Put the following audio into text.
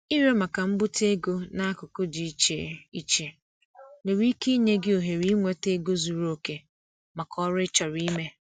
Ịrịọ maka mbute ego n'akụkụ dị iche iche nwere ike inye gị ohere inweta ego zuru oke maka oru ị chọrọ ime.